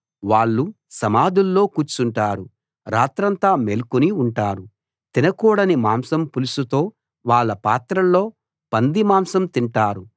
వాళ్ళు సమాధుల్లో కూర్చుంటారు రాత్రంతా మేల్కొని ఉంటారు తినకూడని మాంసం పులుసుతో వాళ్ళ పాత్రల్లో పందిమాంసం తింటారు